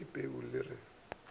ya ka peu le re